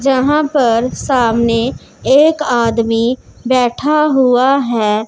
जहां पर सामने एक आदमी बैठा हुआ है।